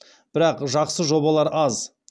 бірақ жақсы жобалар аз